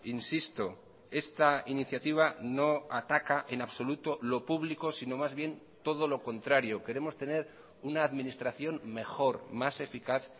insisto esta iniciativa no ataca en absoluto lo público sino más bien todo lo contrario queremos tener una administración mejor más eficaz